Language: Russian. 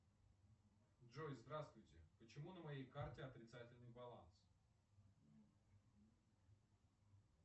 джой здравствуйте почему на моей карте отрицательный баланс